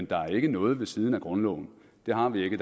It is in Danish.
der ikke noget ved siden af grundloven det har vi ikke